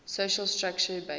social structure based